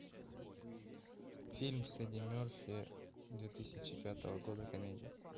фильм с эдди мерфи две тысячи пятого года комедия